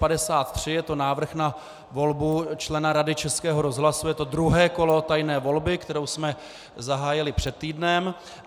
Je to návrh na volbu člena Rady Českého rozhlasu, je to druhé kolo tajné volby, kterou jsme zahájili před týdnem.